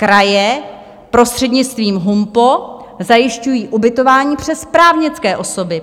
Kraje prostřednictvím HUMPO zajišťují ubytování přes právnické osoby.